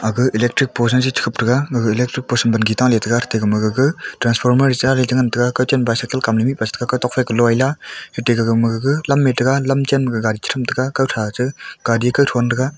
aga electric post jaji che khup thega gaga electric post wangi taley tega ate magaga transformer re cha chengan taiga kawchen bicycle kamle mihpa khawtok kalo lea ate gagana ga lam mai taiga lamchen ma ka gadi thram taiga kathra che gadi kawthron taiga.